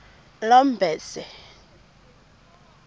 lomberse